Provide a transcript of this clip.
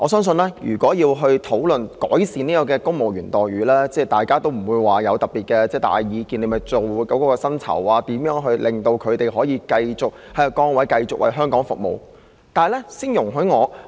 說到要改善公務員待遇，相信大家不會有特別大的意見，只要探討如何調整薪酬，讓他們繼續在其崗位為香港服務便可。